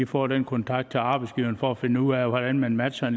får den kontakt til arbejdsgiverne for at finde ud af hvordan man matcher